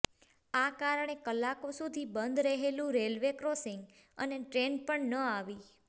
આ કારણે કલાકો સુધી બંધ રહ્યું રેલવે ક્રોસિંગ અને ટ્રેન પણ ન આવી